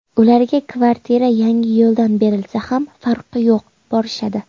Ularga kvartira Yangiyo‘ldan berilsa ham farqi yo‘q borishadi.